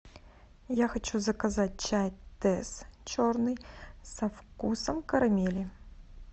я хочу заказать чай тесс черный со вкусом карамели